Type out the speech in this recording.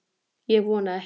Ég vona ekki